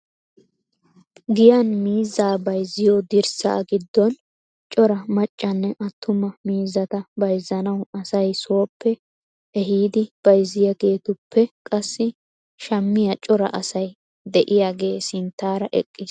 Giyyan miizza bayzziyo dirssa giddon cora maccane attuma miizzata bayzzanaw asay sooppe ehiidi bayzziyaageetuppe qassi shammiyaa cora asay de'iyaagee sinttaara eqqiis.